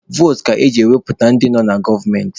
Votu ka eji wepụta ndị nọ na gọọmenti.